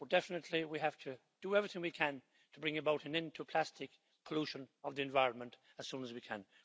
Definitely we have to do everything we can to bring about an end to plastics pollution of the environment as soon as we can.